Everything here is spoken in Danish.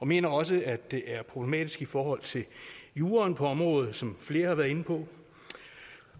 mener også at det er problematisk i forhold til juraen på området som flere har været inde på